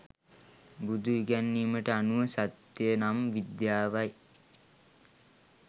බුදු ඉගැන්වීමට අනුව සත්‍ය නම් විද්‍යාවයි.